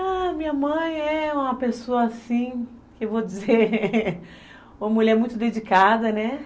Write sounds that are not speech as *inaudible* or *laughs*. *unintelligible* Ah, minha mãe é uma pessoa assim, que eu vou dizer, *laughs* uma mulher muito dedicada, né?